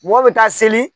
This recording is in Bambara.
Mɔgɔ bɛ taa seli